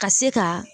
Ka se ka